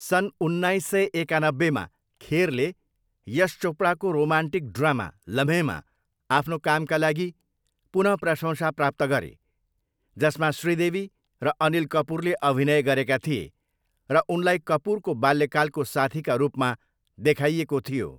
सन् उन्नाइस सय एकानब्बेमा, खेरले यश चोपडाको रोमान्टिक ड्रामा लम्हेंमा आफ्नो कामका लागि पुन प्रशंसा प्राप्त गरे, जसमा श्रीदेवी र अनिल कपुरले अभिनय गरेका थिए र उनलाई कपुरको बाल्यकालको साथीका रूपमा देखाइएको थियो।